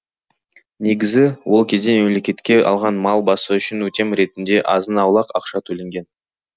негізі ол кезде мемлекетке алған мал басы үшін өтем ретінде азын аулақ ақша төленген